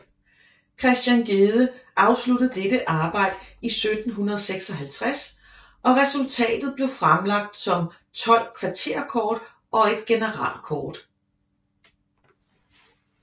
Christian Gedde afsluttede dette arbejde 1756 og resultatet blev fremlagt som 12 kvarterkort og et generalkort